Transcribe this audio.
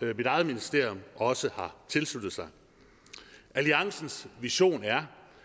mit eget ministerium også har tilsluttet sig alliancens vision er